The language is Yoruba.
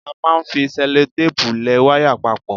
A máa ń fi sẹ́lótéèpù lẹ wáyà papọ̀.